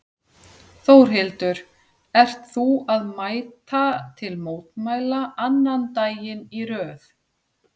Þórhildur: Ert þú að mæta til mótmæla annan daginn í röð?